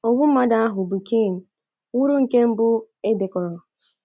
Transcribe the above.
Ogbu mmadụ ahụ bụ́ Cain wuru nke mbụ e dekọrọ.